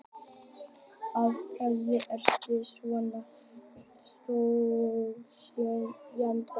Af hverju ertu svona þrjóskur, Jenetta?